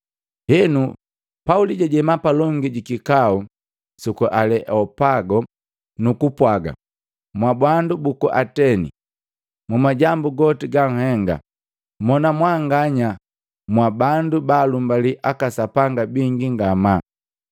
Henu, Pauli jajema palongi jikikau suku Aleopago, nuku pwaga, “Mwabandu buku Ateni! Mu majambu goti ganhenga, mona mwanganya mwa bandu balumbali aka sapanga bingi ngamaa,